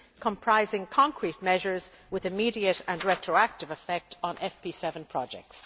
comprising concrete measures with immediate and retroactive effect on FP7 projects.